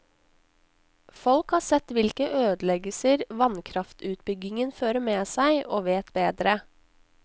Folk har sett hvilke ødeleggelser vannkraftutbyggingen fører med seg, og vet bedre.